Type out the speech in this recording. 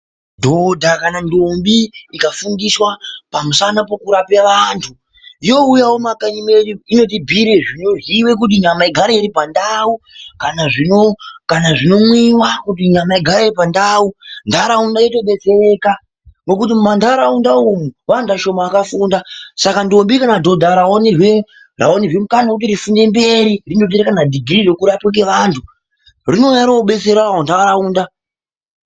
Dhodha kana ntombi ikafundiswa pamusana pekurapa vantu youyawo mumakanyi mwedu inotibhuyire zvinoziiwa kuti nyama igare iripandau kana zvinomwiwa kuti nyama igare iri pandau ndaraunda yotodetsereka ngokuti mumandaraunda umwu vantu vashoma vakafunda saka ntombi kana dhodha rawanirwa mukana wekuti ripfuurire mberi rinoita kana dhigirii rekurapa antu rinouya rodetserawo ndaraunda.